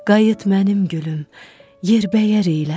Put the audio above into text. Qayıt mənim gülüm, yer bəyər elə.